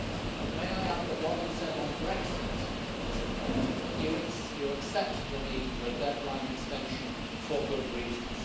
And, may I add, that what you said on Brexit is important that you would accept the need for a deadline extension for good reasons.